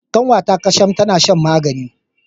Kanwata Kasham tana shan magani.